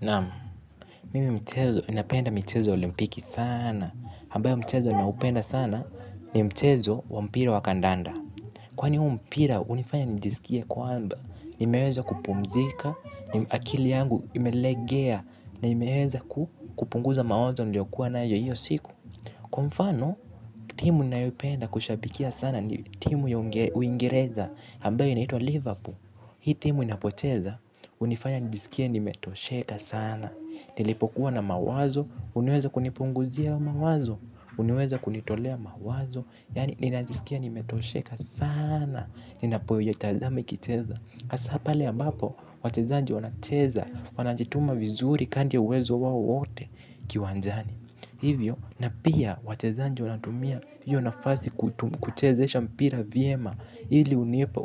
Naam, mimi mchezo ninapenda michezo ya olimpiki saana. Hambayo mchezo naupenda sana ni mchezo wa mpira wa kandanda. Kwani huo mpira unifanya nijisikie kwamba nimeweza kupumzika, akili yangu imelegea. Na imeweza kupunguza mawazo niliyokuwa nayo hiyo siku. Kwa mfano, timu ninayoipenda kuishabikia sana na timu ya uingereza ambayo inaitwa liverpool. Hii timu inapocheza unifanya nijisikie nimetosheka sana. Nilipokuwa na mawazo, huniweza kunipunguzia mawazo, huniweza kunitolea mawazo. Yaani ninajisikia nimetosheka sana, ninapoiyetazama ikicheza. Asaa pale ambapo, wachezaji wanacheza, wanajituma vizuri kandri ya uwezo wao wote kiwanjani. Hivyo, na pia wachezanji wanatumia hiyo nafasi kuchezesha mpira vyema. Hili unipa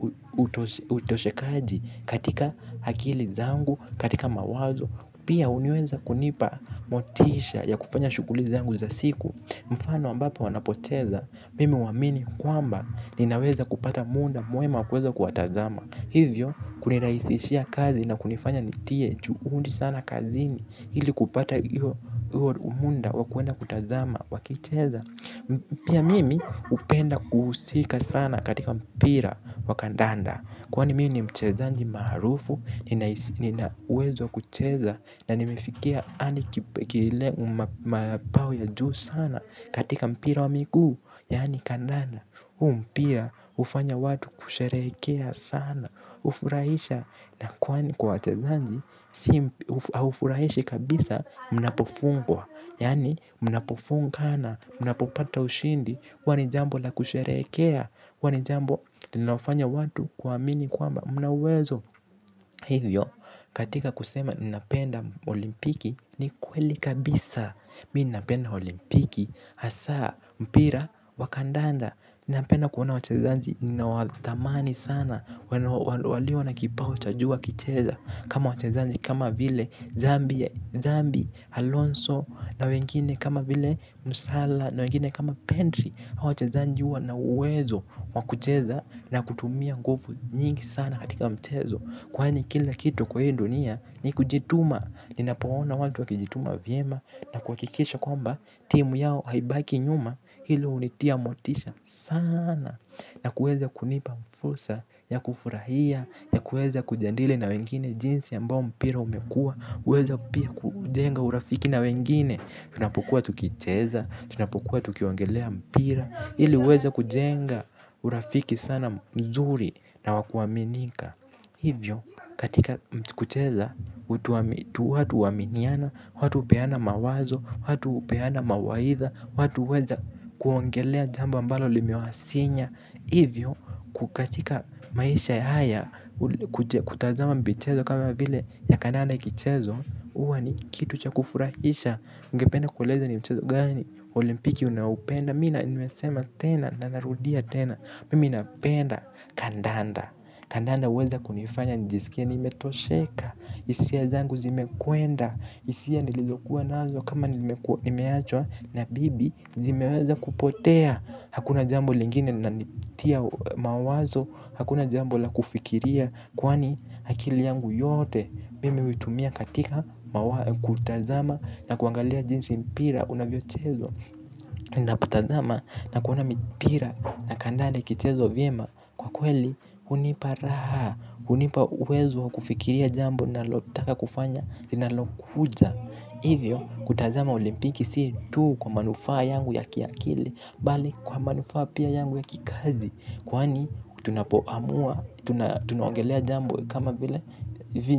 utoshekaji katika hakili zangu, katika mawazo. Pia uniweza kunipa motisha ya kufanya shughuli zangu za siku. Mfano ambapo wanapocheza mimi huwamini kwamba ninaweza kupata munda mwema wa kuweza kuwatazama. Hivyo kuniraisishia kazi na kunifanya nitie juundi sana kazini hili kupata iyo umunda wa kuenda kutazama wakicheza. Pia mimi upenda kuhusika sana katika mpira wa kandanda. Kwani mi ni mchezanji maarufu, ninauwezo wa kucheza, na nimefikia andi kile u mapao ya juu sana katika mpira wa miguu, yaani kandanda, huu mpira hufanya watu kusherehekea sana, ufurahisha. Na kwani kwa wachezanji, haufurahishi kabisa, mnapofungwa yaani, mnapofungana, mnapopata ushindi, huwa ni jambo la kusherehekea huwa ni jambo linaofanya watu kuamini kwamba, mna uwezo. Hivyo, katika kusema ninapenda olimpiki, ni kweli kabisa mi ninapenda olimpiki hasaa mpira wa kandanda napenda kuona wachezanji ninaowathamani sana. Walio na kipau cha juu wakicheza kama wachezanji kama vile Zambi, Alonso na wengine kama vile mo salah na wengine kama pendri hawa wachezanji huwa na uwezo wa kucheza na kutumia nguvu nyingi sana katika mchezo kwani kila kitu kwa hii ndunia ni kunjituma ninapoona watu wakijituma vyema. Na kuhakikisha kwamba timu yao haibaki nyuma hilo hunitia motisha saana. Na kueza kunipa mfursa ya kufurahia, ya kueza kujandili na wengine jinsi ambao mpira umekua. Uweza pia kujenga urafiki na wengine. Tunapokua tukicheza, tunapokua tukiongelea mpira. Ili uweze kujenga urafiki sana mzuri na wa kuaminika. Hivyo, katika mtu kucheza, watu uaminiana, watu hupeana mawazo, watu hupeana mawaitha. Watu huweza kuongelea jambo ambalo limewasinya ivyo kukatika maisha haya kutazama mbichezo kama vile ya kandanda ikichezwa. Uwa ni kitu cha kufurahisha ungependa kueleza ni mchezo gani wa olimpiki unaoupenda. Mi na nimesema tena na narudia tena. Mimi napenda kandanda. Kandanda uweza kunifanya nijisikie nimetosheka. Isia zangu zimekwenda. Isia nilizokuwa nazo kama nimeachwa na bibi zimeweza kupotea. Hakuna jambo lingine linanitia mawazo. Hakuna jambo la kufikiria. Kwani hakili yangu yote mimi huitumia katika kutazama na kuangalia jinsi mpira unavyochezwa. Ninapotazama na kuona mipira na kandale ikichezwa vyema. Kwa kweli hunipa raha hunipa uwezo wa kufikiria jambo ninalotaka kufanya linalokuja ivyo kutazama olimpiki si tu kwa manufaa yangu ya kiakili bali kwa manufaa pia yangu ya kikazi kwani tunapoamua tunaongelea jambo kama vile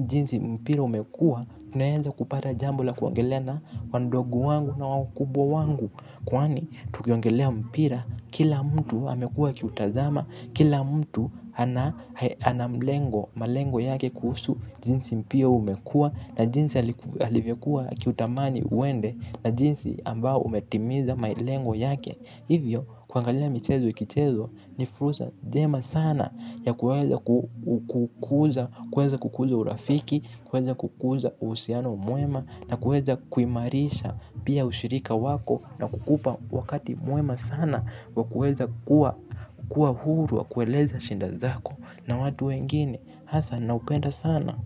jinsi mpira umekuwa tunaenza kupata jambo la kuongelea na wandogu wangu na wakubwa wangu kwani tukiongelea mpira kila mtu amekuwa akiutazama kila mtu ana mlengo malengo yake kuhusu jinsi mpira umekuwa na jinsi alivyokuwa akiutamani uende na jinsi ambao umetimiza malengo yake hivyo kuangalia michezo ikichezwa ni fursa jema sana ya kueza kukuuza urafiki, kueza kukuuza uhusiano mwema na kueza kuimarisha pia ushirika wako na kukupa wakati mwema sana wa kueza kua huru wa kueleza shinda zako na watu wengine hasa naupenda sana.